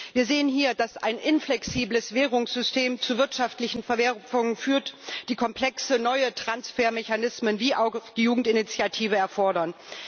Wir sehen hier, dass ein inflexibles Währungssystem zu wirtschaftlichen Verwerfungen führt, die komplexe neue Transfermechanismen wie auch die Jugendinitiative erfordern.